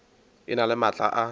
e na le maatla a